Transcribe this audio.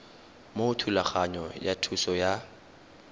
mo thulaganyong ya thuso y